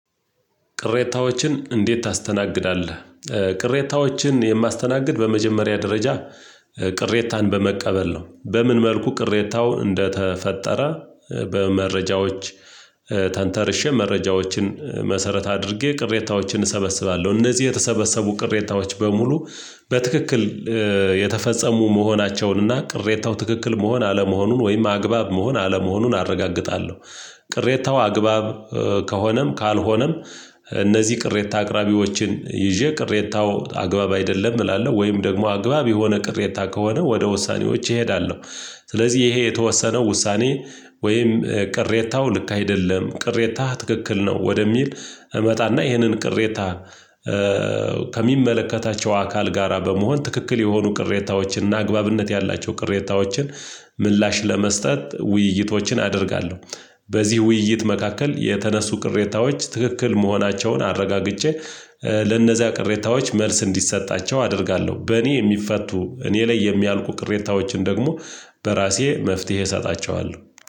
ቅሬታዎችን እንዴት ታስተናግዳለህ? ቅሬታዎችን የማስተናግድ በመጀመሪያ ደረጃ ቅሬታን በመቀበል ነው በምን መልኩ ቅሬታው እንደተፈጠረ በመረጃዎች ተንተርሼ መረጃዎችን መሰረት አድርጌ ቅሬታዎችን እሰበስባለሁ እነዚህ የተሰበሰቡ ቅሬታዎች በሙሉ በትክክል የተፈጸሙ መሆናቸውን እና ቅሬታው ትክክል መሆን አለመሆኑን ወይም አግባብ መሆን አለመሆኑን አረጋግጣለሁ ቅሬታው አግባብ ከሆነም ካልሆነም። እነዚህ ቅሬታ አቅራቢዎችን ይዤ ቅሬታው አግባብ አይደለም እላለሁ ወይም ደግሞ አግባብ የሆነ ቅሬታ ከሆነ ወደ ውሳኔዎቼ እሄዳለሁ። ስለዚህ ይሄ የተወሰነው ውሳኔ ወይም ቅሬታው ልክ አይደለም ቅሬታህ ትክክል ነው ወደሚል እመጣና ይሄንን ቅሬታ ከሚመለከታቸው አካል ጋራ በመሆን ትክክል የሆኑ ቅሬታዎችን እና አግባብነት ያላቸው ቅሬታዎችን ምላሽ ለመስጠት ውይይቶችን አደርጋለሁ። በዚህ ውይይት መካከል የተነሱ ቅሬታዎች ትክክል መሆናቸውን አረጋግጬ ለነዚያ ቅሬታዎች መልስ እንዲሰጣቸው አደርጋለሁ በእኔ የሚፈቱ እኔ ላይ የሚያልቁ ቅሬታዎችን ደግሞ በራሴ መፍትሄ እሰጣቸዋለሁ